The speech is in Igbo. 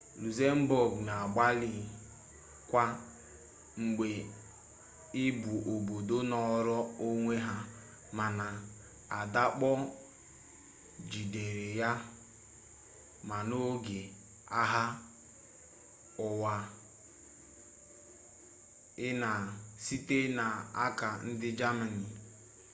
luxembourg na-agbalị kwa mgbe ị bụ obodo nọrọ onwe ha mana adakpọ gidere ya ma n'oge agha ụwa i na ii site n'aka ndị gamani